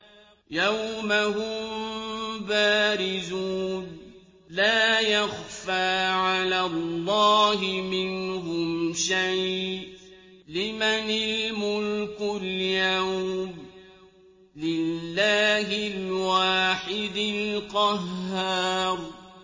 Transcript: يَوْمَ هُم بَارِزُونَ ۖ لَا يَخْفَىٰ عَلَى اللَّهِ مِنْهُمْ شَيْءٌ ۚ لِّمَنِ الْمُلْكُ الْيَوْمَ ۖ لِلَّهِ الْوَاحِدِ الْقَهَّارِ